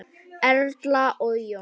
Erla og Jón.